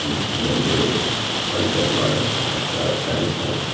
பி_சி and monitor model பாத்தாக்கா Samsung .